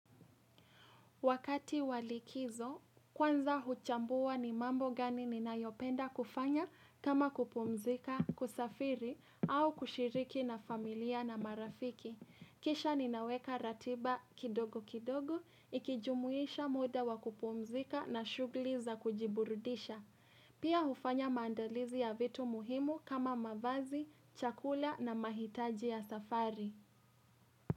Wakati wa likizo, kwanza huchambua ni mambo gani ninayopenda kufanya kama kupumzika, kusafiri, au kushiriki na familia na marafiki. Kisha ninaweka ratiba kidogo kidogo, ikijumuisha muda wa kupumzika na shughuli za kujiburudisha. Pia hufanya maandalizi ya vitu muhimu kama mavazi, chakula na mahitaji ya safari.